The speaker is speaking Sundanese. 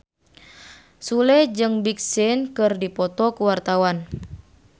Sule jeung Big Sean keur dipoto ku wartawan